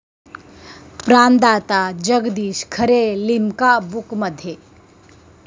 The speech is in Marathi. प्राणदाता' जगदीश खरे 'लिम्का बुक'मध्ये